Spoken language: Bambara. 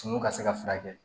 Suman ka se ka furakɛ